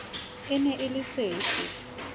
e ne e le sefe